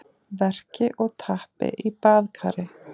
verki og tappi í baðkari.